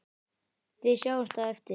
Við sjáumst á eftir.